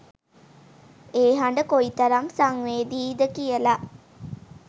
ඒ හඬ කොයි තරම් සංවේදීයිද කියලා